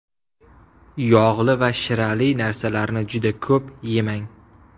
Yog‘li va shirali narsalarni juda ko‘p yemang.